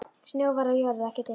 Snjór var á jörð og ekki dimmt.